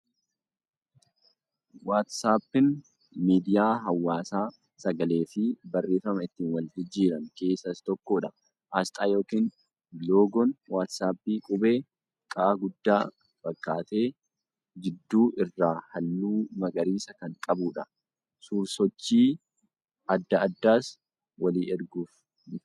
Waat-saappiin miidiyaa hawaasaa sagalee fi barreeffama ittin wal jijjiiran keessaa isa tokko. Asxaa yookin loogoon waat-saappii qubee Q guddaa fakkaatee jidduu irraa halluu magariisa kan qabuudha. Suur-sochii adda addaas walii erguuf ni fayyada.